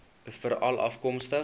veralafkomstig